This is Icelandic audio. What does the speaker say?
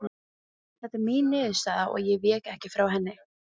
Teitur mat störf mín í þágu bindindis- og menningarmála mikils.